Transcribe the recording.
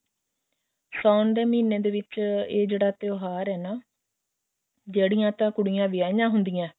ਸਾਉਣ ਦੇ ਮਹੀਨੇ ਵਿੱਚ ਇਹ ਜਿਹੜਾ ਤਿਉਹਾਰ ਹੈ ਨਾ ਜਿਹੜੀਆਂ ਤਾਂ ਕੁੜੀਆਂ ਵਿਆਹੀਆਂ ਹੁੰਦੀਆਂ ਹੁੰਦੀਆਂ